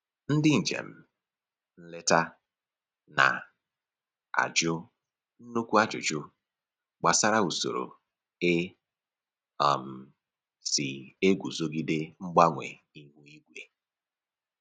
Ndị njem nleta na-ajụ nnukwu ajụjụ gbasara usoro e um si eguzogide mgbanwe ihu igwe